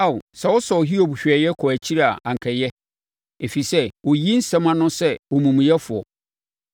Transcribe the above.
Ao, sɛ wɔsɔɔ Hiob hwɛeɛ kɔɔ akyiri a anka ɛyɛ, ɛfiri sɛ ɔyiyii nsɛm ano sɛ omumuyɛfoɔ!